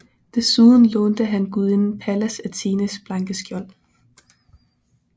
Desuden lånte han gudinden Pallas Athenes blanke skjold